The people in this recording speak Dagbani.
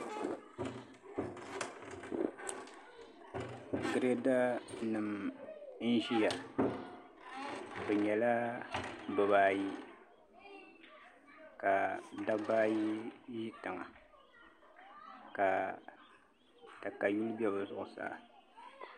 Girɛda nim n ʒiya bi nyɛla bibaayi ka dabba ayi ʒI tiŋa ka katayuli bɛ bi zuɣusaa